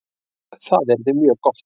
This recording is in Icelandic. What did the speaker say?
Það yrði mjög gott